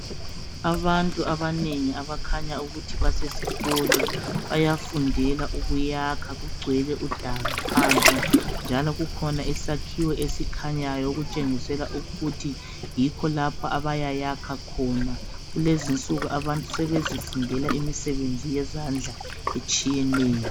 Abantu abanengi abakhanya ukuthi basesikolo bayafundela ukuyakha kugcwele kudala phansi njalo kukhona isakhiwo esikhanyayo okutshengisela ukuthi yikho lapho abayayakha khona kulezi nsuku abantu sebezifundela imisebenzi yezandla etshiyeneyo.